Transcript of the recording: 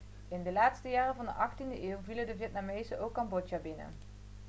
in de laatste jaren van de 18e eeuw vielen de vietnamezen ook cambodja binnen